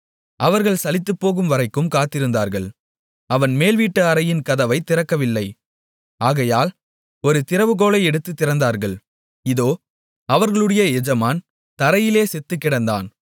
அவர்கள் சலித்துப்போகும் வரைக்கும் காத்திருந்தார்கள் அவன் மேல்வீட்டு அறையின் கதவைத் திறக்கவில்லை ஆகையால் ஒரு திறவுகோலை எடுத்துத் திறந்தார்கள் இதோ அவர்களுடைய எஜமான் தரையிலே செத்துக்கிடந்தான்